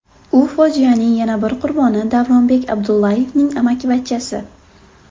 U fojianing yana bir qurboni Davronbek Abdullayevning amakivachchasi .